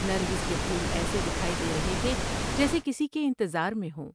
نرگس کے پھول ایسے دکھائی دے رہے تھے جیسے کسی کے انتظار میں ہوں ۔